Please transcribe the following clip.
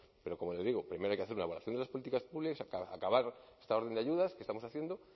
pero como le digo primero hay que hacer una evaluación de las políticas públicas acabar esta orden de ayudas que estamos haciendo